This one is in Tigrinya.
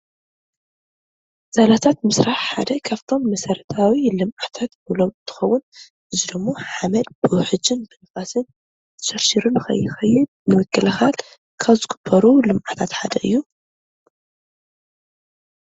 ዛላታት ምስራሕ ሓደ ካብፍቶም መሰረታዊ ልምዓታት ንብሎም እንትኸውን እዚ ድማ ሓመድ ብውሕጅን ብንፋስን ተሸርሺሩ ንኸይኸይድ ንምክልኻል ካብ ዝግበሩ ልምዓታት ሓደ እዩ፡፡